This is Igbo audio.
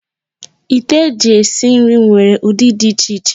Ite eji esi ihe nwere ụdị dị iche iche.